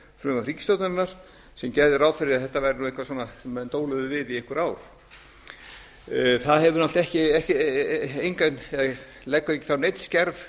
frumvarp ríkisstjórnarinnar sem gerði ráð fyrir að þetta væri eitthvað sem menn dóluðu við i einhver ár það leggur þá ekki neinn skerf